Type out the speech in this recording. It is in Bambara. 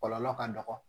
Kɔlɔlɔ ka dɔgɔ